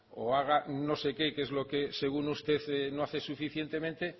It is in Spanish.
o haga un no sé qué que es lo que según usted no hace lo suficientemente